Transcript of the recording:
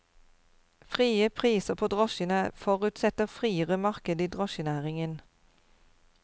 Frie priser på drosjene forutsetter friere marked i drosjenæringen.